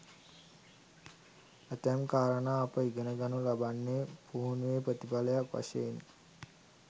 ඇතැම් කාරණා අප ඉගෙනගනු ලබන්නේ පුහුණුවේ ප්‍රතිඵලයක් වශයෙනි.